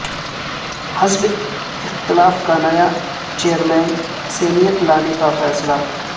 حزب اختلاف کا نیا چیئرمین سینیٹ لانے کا فیصلہ